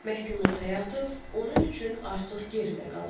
Məhkumluq həyatı onun üçün artıq geridə qalıb.